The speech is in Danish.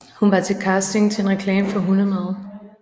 Hun var til casting til en reklame for hundemad